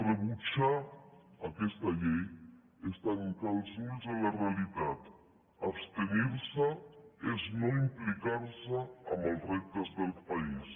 rebutjar aquesta llei és tancar els ulls a la realitat abstenir se és no implicar se en els reptes del país